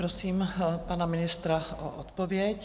Prosím pana ministra o odpověď.